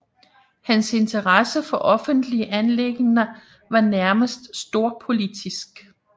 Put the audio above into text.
Hans interesse for offentlige anliggender var nærmest storpolitisk